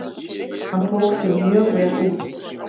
Hann tók sig mjög vel út.